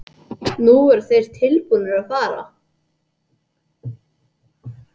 Nú voru þeir tilbúnir að fara.